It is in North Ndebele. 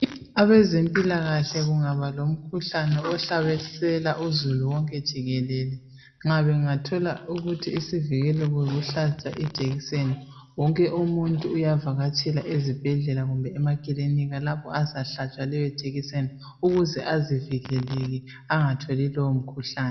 Abezempilakahle kungaba lomumkhuhlane ohlasela uzulu wonke jikelele nxa bengathola ukuthi isivikelo yokuhlatshwa ijekiseni wonke umuntu uyakatshela ezibhendlela kumbe emakilinika lapho azahlatshwa leyo ijekiseni ukuze azivikele angatjoli lowo mkhuhlane